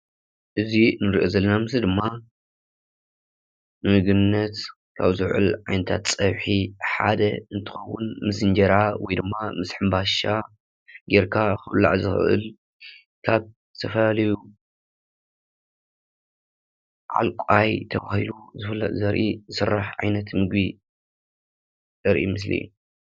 እዚ እንርእዮ ዘለና ምሰሊ ድማ ንምግብነት ካብ ዘውዕል ዓይነታት ፀብሒ ሓደ እንትከወን ምስ እንጀራ ወይድማ ምስ ሕንባሻ ጌርካ ክብላዕ ዝክእል ካብ ዝተፈላለዩ ዓልቋይ ተባሂሉ ዝፍለጥ ዘርኢ ዝስራሕ ዓይነት ምግቢ ዘርኢ ምስሊ እዩ።